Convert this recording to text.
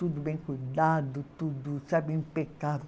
Tudo bem cuidado, tudo, sabe, impecável.